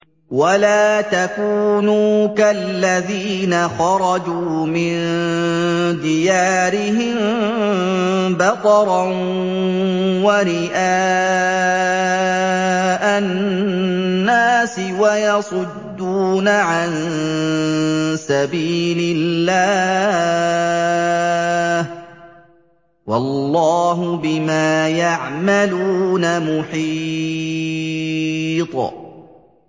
وَلَا تَكُونُوا كَالَّذِينَ خَرَجُوا مِن دِيَارِهِم بَطَرًا وَرِئَاءَ النَّاسِ وَيَصُدُّونَ عَن سَبِيلِ اللَّهِ ۚ وَاللَّهُ بِمَا يَعْمَلُونَ مُحِيطٌ